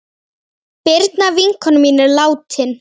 Birna vinkona mín er látin.